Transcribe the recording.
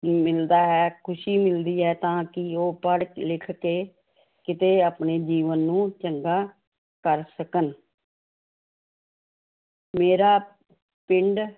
ਮਿਲਦਾ ਹੈ ਖ਼ੁਸ਼ੀ ਮਿਲਦੀ ਹੈ ਤਾਂ ਕਿ ਉਹ ਪੜ੍ਹ ਲਿਖ ਕੇ ਕਿਤੇ ਆਪਣੇ ਜੀਵਨ ਨੂੰ ਚੰਗਾ ਕਰ ਸਕਣ ਮੇਰਾ ਪਿੰਡ